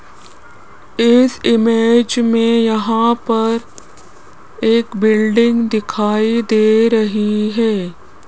इस इमेज में यहां पर एक बिल्डिंग दिखाई दे रही है।